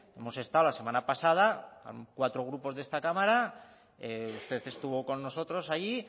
hemos estado la semana pasada cuatro grupos de esta cámara usted estuvo con nosotros allí